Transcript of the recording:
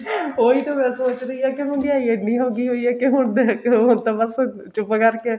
ਉਹੀ ਤਾਂ ਮੈਂ ਸੋਚਦੀ ਹਾਂ ਕਿ ਹੁਣ ਮਹਿੰਗਿਆਈ ਇਹਨੀ ਹੋ ਗਈ ਐ ਕਿ ਹੁਣ ਮੈਂ ਕਿਉਂ ਹੁਣ ਤਾਂ ਬੱਸ ਚੁੱਪ ਕਰਕੇ